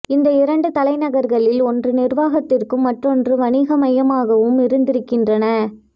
இந்த இரண்டு தலைநகர்களில் ஒன்று நிர்வாகத்திற்கும் மற்றொன்று வணிக மையமாகவும் இருந்திருக்கின்றன